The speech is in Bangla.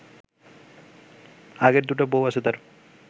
আগের দুটো বউ আছে তার